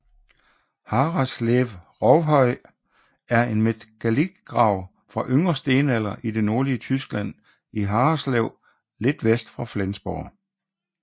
Harreslev Rovhøj er en megalitgrav fra yngre stenalder i det nordlige Tyskland i Harreslev lidt vest for Flensborg